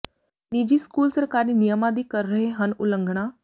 ਨਿੱਜੀ ਸਕੂਲ ਸਰਕਾਰੀ ਨਿਯਮਾਂ ਦੀ ਕਰ ਰਹੇ ਹਨ ਉਲੰਘਣਾ